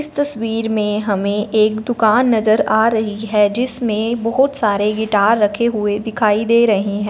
इस तस्वीर में हमें एक दुकान नजर आ रही है जिसमें बहोत सारे गिटार रखे हुए दिखाई दे रहे हैं।